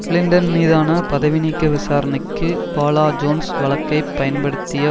Clinton மீதான பதவிநீக்க விசாரணைக்கு பாலா ஜோன்ஸ் வழக்கை பயன்படுத்திய